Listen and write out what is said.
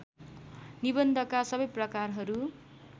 निबन्धका सबै प्रकारहरू